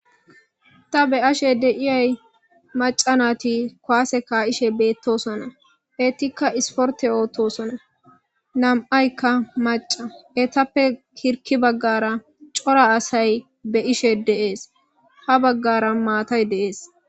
Ta be ashe deiyay maca nati koase ka,ishe beettosona ettikka isporte ootosona nam,aykka maca etappe kirki baggara cora asay be ishe deees ha baggara maatay deees.